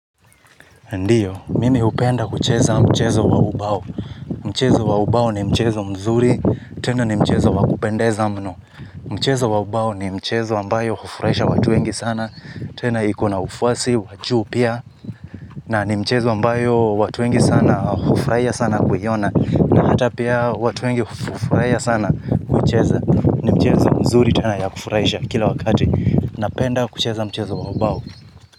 Ndiyo, mimi hupenda kucheza mchezo wa ubao. Mchezo wa ubao ni mchezo mzuri, tena ni mchezo wa kupendeza mno. Mchezo wa ubao ni mchezo ambayo hufuraisha watu wengi sana, tena iko na ufuasi wa juu pia. Na ni mchezo ambayo watu wengi sana hufurahia sana kuiona. Na hata pia watu wengi hufurahia sana kucheza ni mchezo mzuri tena ya kufurahisha kila wakati. Napenda kucheza mchezo wa ubao.